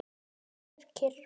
Þú verður kyrr.